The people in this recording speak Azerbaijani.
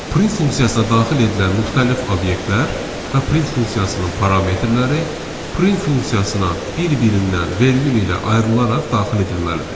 Print funksiyasına daxil edilən müxtəlif obyektlər və print funksiyasının parametrləri print funksiyasına bir-birindən vergül ilə ayrılaraq daxil edilməlidir.